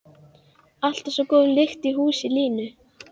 Alltaf svo góð lyktin í húsi Lúnu.